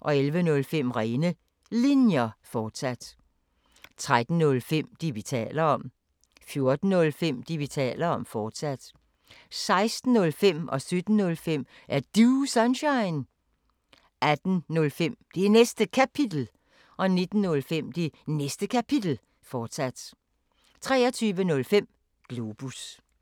11:05: Rene Linjer, fortsat 13:05: Det, vi taler om 14:05: Det, vi taler om, fortsat 16:05: Er Du Sunshine? 17:05: Er Du Sunshine? 18:05: Det Næste Kapitel 19:05: Det Næste Kapitel, fortsat 23:05: Globus